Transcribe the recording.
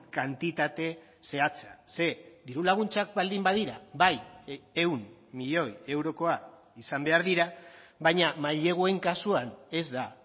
kantitate zehatza ze diru laguntzak baldin badira bai ehun milioi eurokoa izan behar dira baina maileguen kasuan ez da